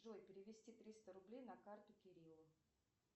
джой перевести триста рублей на карту кириллу